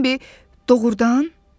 Bembi doğurdan?